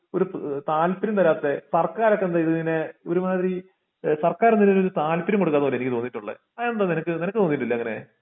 ഒരു താല്പര്യം താരത്തെ വർക്ക്കാർ ഒക്കെ എന്താ ഇത് ഇങ്ങനെ ഒരുമാതിരി ഇഹ് സർക്കാർ എന്താ ഇതിനൊരു താല്പര്യം കൊടുക്കാത്ത പോലെ എനിക്ക് തോണിട്ടുള്ളെ അതെന്താ നിനക്ക് നിനക്കു തോന്നീട്ടില്ല അങ്ങിനെ?